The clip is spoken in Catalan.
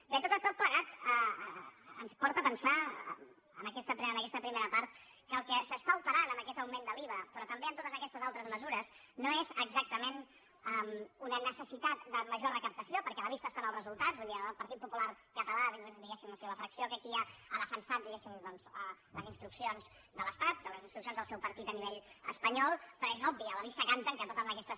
bé tot plegat ens porta a pensar en aquesta primera part que el que s’està operant amb aquest augment de l’iva però també amb totes aquestes altres mesures no és exactament una necessitat de major recaptació perquè a la vista estan els resultats vull dir el partit popular català diguéssim o sigui la fracció que aquí hi ha ha defensat diguéssim les instruccions de l’estat les instruccions del seu partit a nivell espanyol però és obvi a la vista canten que totes aquestes